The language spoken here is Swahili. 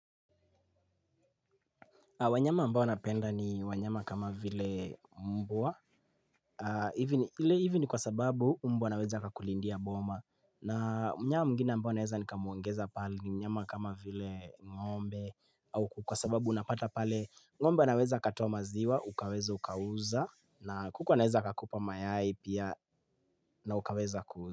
Wanyama ambao napenda ni wanyama kama vile mbwa. Ile hivi ni kwa sababu mbwa anaweza kakulindia boma. Na mnyama mwingine ambao naweza ni kamwongeza pale ni mnyama kama vile ngombe. Au kwa sababu unapata pale ngombe anaweza katoa maziwa, ukaweza ukauza. Na kuku anaweza kakupa mayai pia na ukaweza kuuza.